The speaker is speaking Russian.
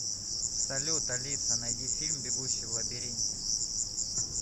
салют алиса найди фильм бегущий в лабиринте